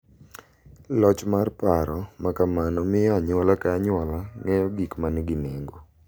Loch mar paro ma kamano miyo anyuola ka anyuola ng’eyo gik ma nigi nengo .